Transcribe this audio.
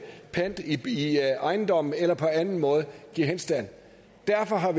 pant i ejendommen eller på anden måde give henstand derfor har